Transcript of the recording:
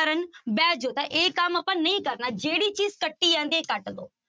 ਕਰਨ ਬਹਿ ਜਾਓ ਤਾਂ ਇਹ ਕੰਮ ਆਪਾਂ ਨਹੀਂ ਕਰਨਾ, ਜਿਹੜੀ ਚੀਜ਼ ਕੱਟੀ ਜਾਂਦੀ ਹੈ ਕੱਟ ਦਓ।